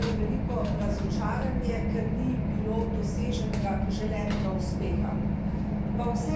Tukaj smo slišali veliko razočaranje, ker ni bilo doseženega želenega uspeha.